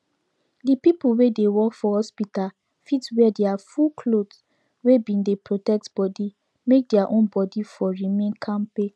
the people wey dey work for hospital fit wear their full cloth wey bin dey protect body make their own body for remain kampe